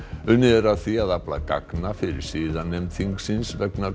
unnið er að því að afla gagna fyrir siðanefnd þingsins vegna